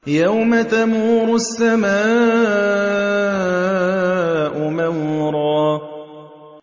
يَوْمَ تَمُورُ السَّمَاءُ مَوْرًا